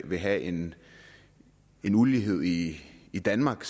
vil have en ulighed i i danmark